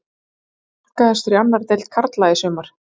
Hver var markahæstur í annarri deild karla í sumar?